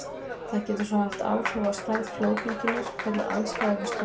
Það getur svo haft áhrif á stærð flóðbylgjunnar hvernig aðstæður við ströndina eru.